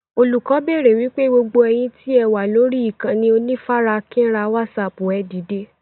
Olùkọ́ béèrè wípé "gbogbo ẹ̀yin tí ẹ wà lórí ìkànnì onífarakínra wásààpù ẹ dìde!